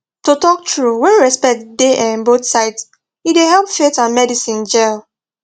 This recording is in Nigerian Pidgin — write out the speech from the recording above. to talk true when respect dey um both sides e dey help faith and medicine jell